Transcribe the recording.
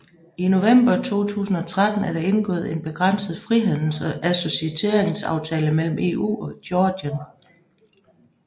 I November 2013 er der indgået en begrænset frihandles og associeringsaftale mellem EU og Georgien